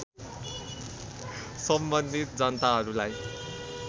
सम्बन्धित जनताहरूलाई